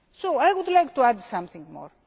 I would like to add something more.